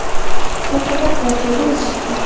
raqobat bor joyda o‘sish bor.